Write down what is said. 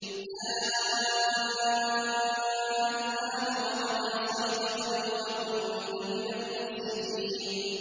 آلْآنَ وَقَدْ عَصَيْتَ قَبْلُ وَكُنتَ مِنَ الْمُفْسِدِينَ